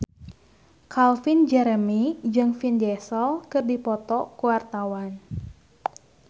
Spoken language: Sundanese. Calvin Jeremy jeung Vin Diesel keur dipoto ku wartawan